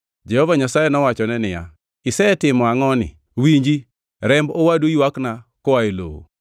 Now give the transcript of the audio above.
Jehova Nyasaye nowachone niya, “Isetimo angʼoni? Winji! Remb owadu ywakna koa e lowo.